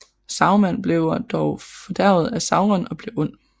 Saruman bliver dog fordærvet af Sauron og bliver ond